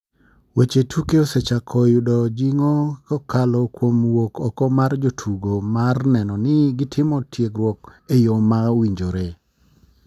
Weche tuko osechako yudo jingo kokalo kuom wuok oko mar jotugo mar neno ni gi timo tiegruok e yo ma owinjore.